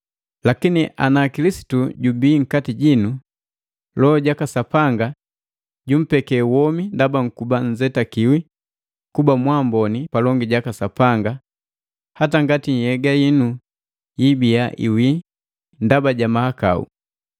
Lakini ana Kilisitu jubii nkati jinu, Loho jaka Sapanga jumpeke womi ndaba nkuba nzetakiwi kuba mwaamboni palongi jaka Sapanga hata ngati nhyega yinu yiibia iwi ndaba ja mahakau.